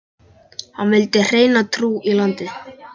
Hann vildi hreina trú í landið.